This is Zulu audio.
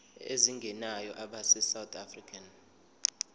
ezingenayo abesouth african